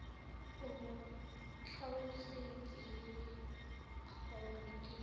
o mo tlhalosetse gore ke